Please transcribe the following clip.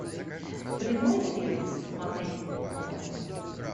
прямой эфир смотреть онлайн